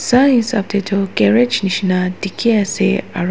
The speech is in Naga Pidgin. sai hisap te toh garage nishina dikhi ase aro.